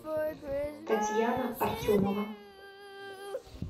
татьяна артемова